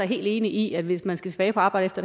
helt enig i at hvis man skal tilbage på arbejde